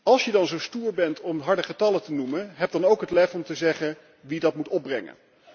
Als je dan zo stoer bent om harde getallen te noemen, heb dan ook het lef om te zeggen wie dat moet opbrengen.